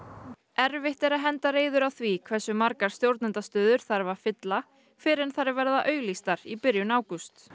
erfitt er að henda reiður á því hversu margar stjórnendastöður þarf að fylla fyrr en þær verða auglýstar í byrjun ágúst